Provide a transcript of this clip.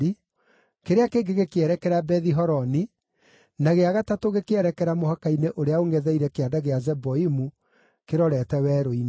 kĩrĩa kĩngĩ gĩkĩerekera Bethi-Horoni, na gĩa gatatũ gĩkĩerekera mũhaka-inĩ ũrĩa ũngʼetheire Kĩanda gĩa Zeboimu kĩrorete werũ-inĩ.